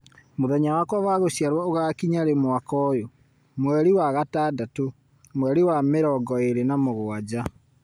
Mũthenya wakwa wa gũciarwo ũgakinya rĩ mwaka ũyũ, mweri wa gatandatũ, mweri wa mĩrongo ĩĩrĩ na mũgwanja